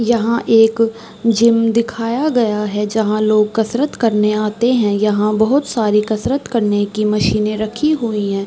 यहाँ एक जिम दिखाया गया है। जहाँ लोग कसरत करने आते है। यहाँ बहोत सारी कसरत करने की मशीने रखी हुई हैं।